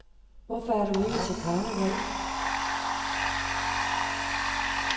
Hvorfor er du ikke til karneval?